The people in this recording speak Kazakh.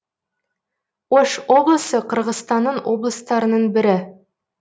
ош облысы қырғызстанның облыстарының бірі